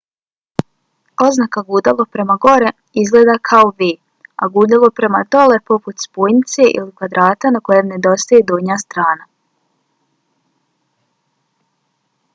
oznaka gudalo prema gore izgleda kao v a gudalo prema dole poput spojnice ili kvadrata na kojem nedostaje donja strana